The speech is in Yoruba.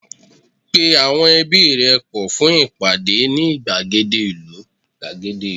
pe awọn ẹbi rẹ pọ fún ìpàdé ni igbagede ìlú